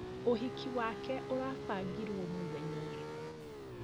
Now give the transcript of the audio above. Ũhiki wake ũrabangirwo mũthenya ũrĩkũ?